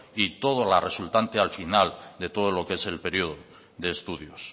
y todo lo resultante al final de todo lo que es el periodo de estudios